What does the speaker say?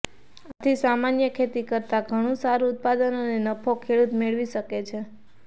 આથી સામાન્ય ખેતી કરતા ઘણું સારું ઉત્પાદન અને નફો ખેડૂત મેળવી શકે છે